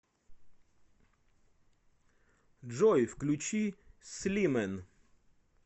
джой включи слимэн